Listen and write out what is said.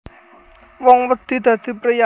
Wong wedi dadi priyayi